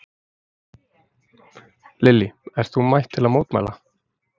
Lillý: Ert þú mætt til að mótmæla?